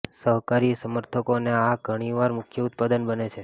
શાકાહારી સમર્થકો અને આ ઘણીવાર મુખ્ય ઉત્પાદન બને છે